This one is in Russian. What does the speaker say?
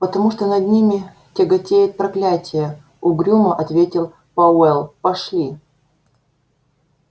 потому что над ними тяготеет проклятие угрюмо ответил пауэлл пошли